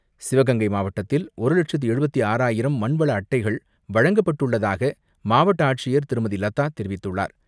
சிவகங்கை மாவட்டத்தில் ஒரு லட்சத்து எழுபத்து ஆறாயிரம் மண்வள அட்டைகள் வழங்கப்பட்டுள்ளதாக மாவட்ட ஆட்சியர் திருமதி லதா தெரிவித்துள்ளார்.